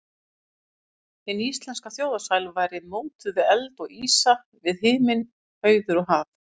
Hin íslenska þjóðarsál væri mótuð við eld og ísa, við himinn, hauður og haf.